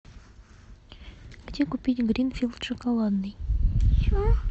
где купить гринфилд шоколадный